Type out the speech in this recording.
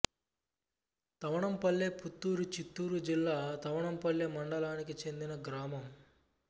తవణంపల్ల్లే పుత్తూరు చిత్తూరు జిల్లా తవణంపల్లె మండలానికి చెందిన గ్రామం